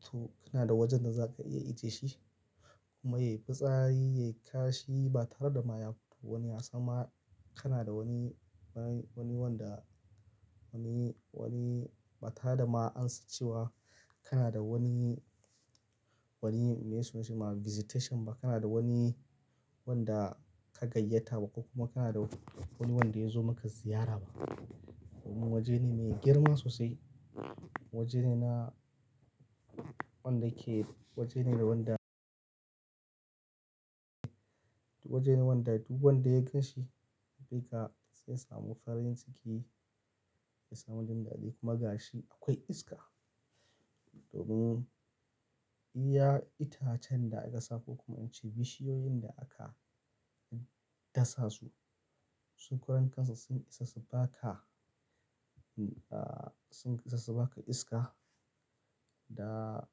To kana da wajen da za ka iya ijiye shi kuma yayi fitsari, yayi kashi ba tare da ma wani yasamma. Kana da wani, wani, wani wanda, wani, wani ba tare da ma an san cewa. Kana da wani, wani me suna shi ma visitation ba. Kana da wani wanda ka gayyata ba kuma kana da wani wanda ya zo maka ziyara ba. Domin waje ne mai girma sosai. Waje ne na wanda ke, waje ne da wanda, waje ne wanda duk wanda ya gan shi kai ka zai samu farin ciki, zai samu jin daɗi kuma gashi akwai iska. Domin iya itacen da aka sa ko kuma in ce bishiyoyin da aka dasa su, su karan kansu sun isa su baka, ah, sun isa su baka iska da,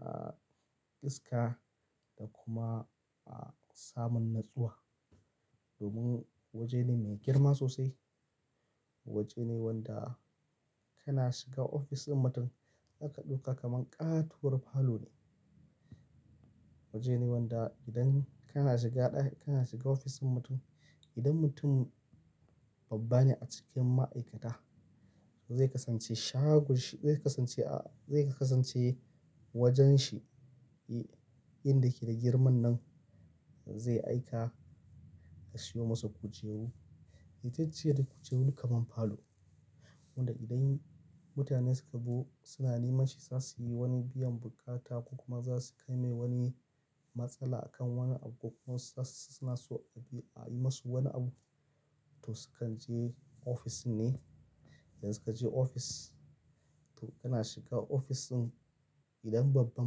ah, iska da kuma, ah, samun natsuwa. Domin waje ne mai girma sosai. Waje ne wanda kana shiga ofis din mutum zaka ɗauka kaman ƙatuwar falo ne. Waje ne wanda idan kana shiga ɗaki, kana shiga ofisin mutum, idan mutum babba ne a cikin ma'aikata zai kasance shago shi zai kasance, ah, zai kasance wajen shi, inda yake da girman nan zai aika a siyo masa kujeru. Itace duk kujeru kaman falo. Wanda idan mutane suka zo suna neman shi za suyi wani biyan buƙata ko kuma za su kai mai wani matsala akan wani abu ko kuma suna so a yi masu wani abu. To sukan je ofis ne. Idan suka je ofis to kana shiga ofisin idan babban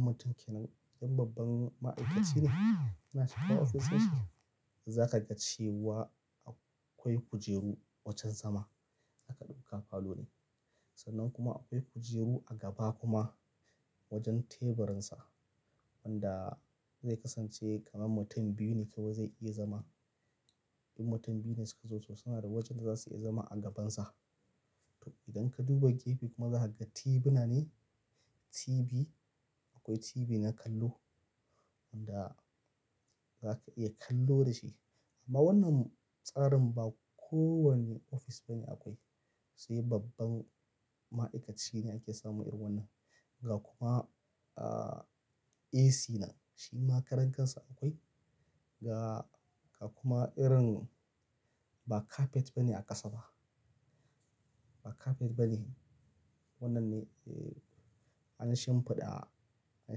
mutum ke nan, idan babban ma'aikaci ne kana shiga ofishin shi za ka ga cewa akwai kujeru wajen zama zaka ɗauka falo ne. Sannan kuma akwai kujeru a gaba kuma wajen teburinsa. Wanda zai kasance kaman mutum biyu ne kawai zai iya zama. In mutum biyu ne suka zo to suna da wajen da za su iya zama a gabansa. To idan ka duba gefe kuma za ka ga TV na ne. TV, akwai TV na kallo wanda za ka iya kallo da shi. Amma wannan tsarin ba kowane ofis ba ne akwai. Sai babban ma'aikaci ne yake samun irin wannan. Ga kuma, ah, AC nan. Shi ma karankansa akwai ga, ga kuma irin ba kafet ba ne aƙasa ba. Ba kafet ba ne. Wannan ne, eh, an shimfiɗa, an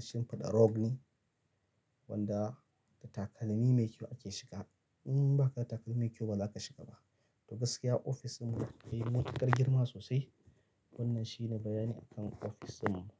shimfiɗa rug ne wanda da takalmi mai kyau ake shiga. In ba ka da takalmi mai kyau ba za ka shiga ba. To gaskiya ofisin mu yayi matuƙar girma sosai. Wannan shi ne bayani akan ofisin mu.